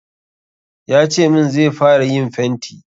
Ya ce min zai fara yin fenti.